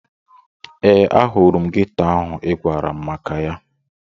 Ee, ahụrụ m geto ahụ ị gwara m maka ya.